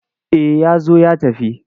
Eh ya zo ya tafi.